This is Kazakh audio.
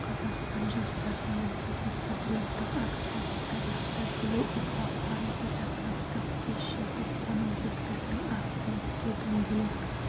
қазақстан жастар тәуелсіздік патриоттық акциясы тарихты білу ұрпақ парызы тақырыптық кеш желтоқсаным жеткіздің ақ тілекке дөңгелек